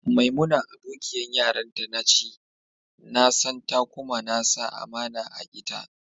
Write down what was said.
Maimuna abokiyan yaranta na ce, na san ta kuma na sa amana a'ita.